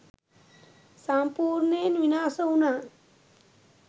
සම්පූර්ණයෙන් විනාශ වුණා.